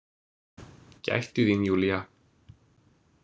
Gættu þín, Júlía.